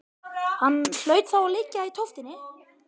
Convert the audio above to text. Hann hlaut þá að liggja í tóftinni.